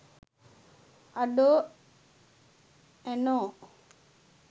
අඩෝ ඇනෝ